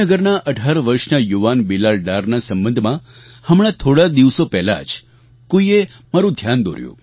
શ્રીનગરના ૧૮ વર્ષના યુવાન બિલાલ ડારના સંબંધમાં હમણાં થોડા દિવસો પહેલાં જ કોઈએ મારું ધ્યાન દોર્યું